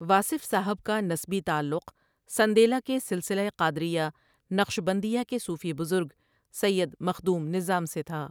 واصف صاحب کا نسبی تعلق سندیلہ کے سلسلہ قادریہ نقشبندیہ کے صوفی بزرگ سید مخدوم نظام سے تھا ۔